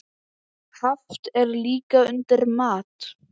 Haft er líka undir mat.